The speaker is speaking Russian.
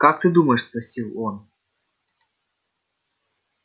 как ты думаешь спросил он